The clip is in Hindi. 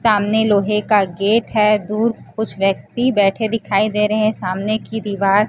सामने लोहे का गेट है दूर कुछ व्यक्ती बैठे दिखाई दे रहे हैं सामने की दीवार--